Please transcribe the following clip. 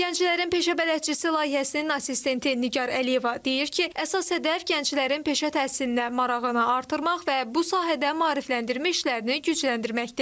Gənclərin Peşə Bələdçisi layihəsinin assistenti Nigar Əliyeva deyir ki, əsas hədəf gənclərin peşə təhsilinə marağını artırmaq və bu sahədə maarifləndirmə işlərini gücləndirməkdir.